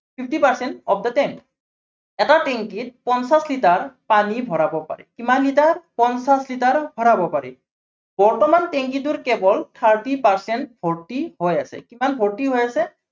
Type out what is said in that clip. fifty percent of the tank এটা tank ত পঞ্চাশ লিটাৰ পানী ভৰাৱ পাৰি, কিমান লিটাৰ, পঞ্চাশ লিটাৰ ভৰাৱ পাৰি। বৰ্তমান tank টোৰ কেৱল thirty percent ভৰ্তি হৈ আছে। কিমান ভৰ্তি হৈ আছে।